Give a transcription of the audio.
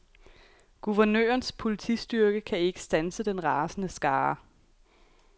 Guvernørens politistyrke kan ikke standse den rasende skare.